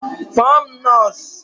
Kpọọ m nọọsụ